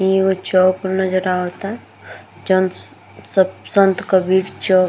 ई एगो चौक नजर आवता चंस स संत कबीर चौक |